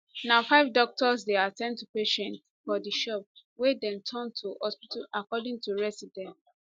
na five doctors dey at ten d to patients for di shop wey dem turn to hospital according to residents